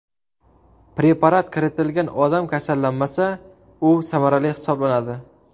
Preparat kiritilgan odam kasallanmasa, u samarali hisoblanadi.